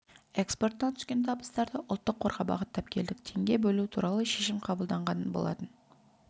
экспортынан түскен табыстарды ұлттық қорға бағыттап келдік теңге бөлу туралы шешім қабылданған болатын